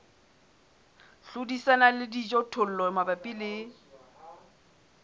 hlodisana le dijothollo mabapi le